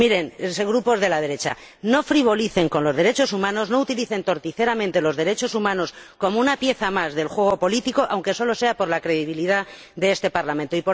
Miren, grupos de la derecha, no frivolicen con los derechos humanos, no utilicen torticeramente los derechos humanos como una pieza más del juego político, aunque solo sea por la credibilidad de este Parlamento.